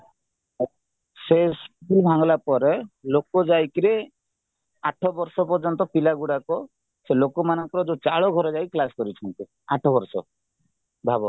ସେ ସ୍କୁଲ ଭାଙ୍ଗିଲାପରେ ଲୋକାଯାଇକିରି ଆଠ ବର୍ଷ ପର୍ଯ୍ୟନ୍ତ ପିଲାଗୁଡାକ ସେଲୋକମାନଙ୍କର ଯୋଉ ଚାଳ ଘରେ କ୍ଲାସ କରୁଛନ୍ତି ଆଠ ବର୍ଷ ଭାବ